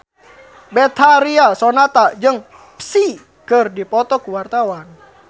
Betharia Sonata jeung Psy keur dipoto ku wartawan